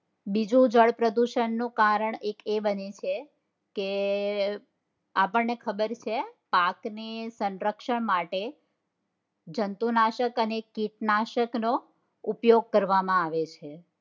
બીજું જળ પ્રદુષણ નું કારણ એક એ બન્યું છે કે આપણને ખબર છે પાકની સંરક્ષક માટે જંતુનાશક અને કીટનાશક નો ઉપયોગ કરવા માં આવેછે.